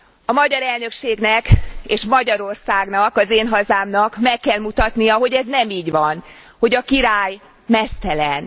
A magyar elnökségnek és Magyarországnak, az én hazámnak, meg kell mutatnia, hogy ez nem így van, hogy a király meztelen.